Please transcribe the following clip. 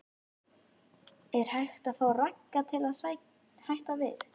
Er hægt að fá Ragga til að hætta við?